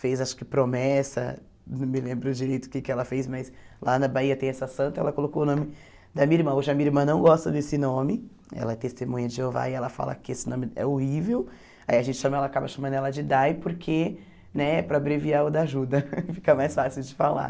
fez acho que promessa, não me lembro direito o que que ela fez, mas lá na Bahia tem essa santa, ela colocou o nome da minha irmã, hoje a minha irmã não gosta desse nome, ela é testemunha de Jeová e ela fala que esse nome é horrível, aí a gente chama, ela acaba chamando ela de Dai, porque, né, para abreviar o da ajuda, fica mais fácil de falar.